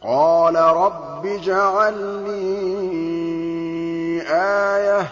قَالَ رَبِّ اجْعَل لِّي آيَةً ۖ